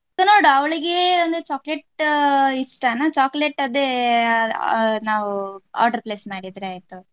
ನೋಡುವ ಅವಳಿಗೆ ಒಂದು chocolate ಇಷ್ಟನಾ chocolate ಅದೇ ನಾವು order place ಮಾಡಿದ್ರೆ ಆಯ್ತು.